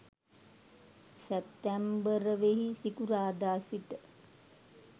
සැප්තැම්බර්වෙනි සිකුරාදා සිට